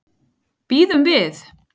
Bíðum við.